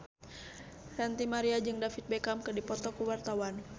Ranty Maria jeung David Beckham keur dipoto ku wartawan